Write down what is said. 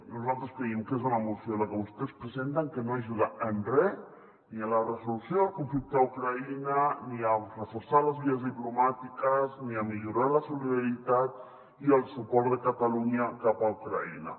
nosaltres creiem que és una moció la que vostès presenten que no ajuda en re ni a la resolució del conflicte a ucraïna ni a reforçar les vies diplomàtiques ni a millorar la solidari·tat i el suport de catalunya cap a ucraïna